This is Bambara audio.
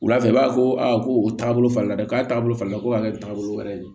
Wula fɛ i b'a fɔ ko a ko o taabolo falen dɛ k'a taabolo falen ko a ka kɛ taabolo wɛrɛ de ye